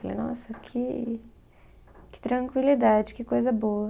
Falei, nossa, que que tranquilidade, que coisa boa.